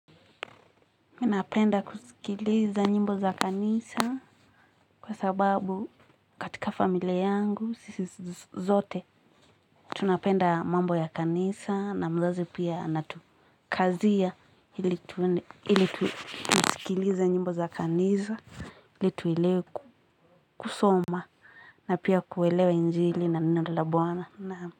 Mimi napenda kusikiliza nyimbo za kanisa kwa sababu katika familia yangu sisi zote tunapenda mambo ya kanisa na mzazi pia anatukazia ili tusikilize nyimbo za kanisa ili tuelewe kusoma na pia kuelewa injili na minada la buwana na.